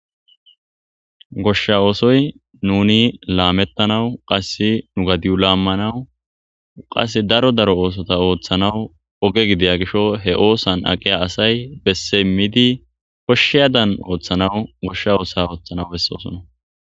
Goshsha oosoy nuuni laameththanawu qassi nu gadiyu laammanawu qasse daro daro oosotha ooththanawu oge gidiya gisho he oosan aqiya asay besse immidi koshshiyaadan ooththanawu goshsha oosa ooththanawu bessoosona.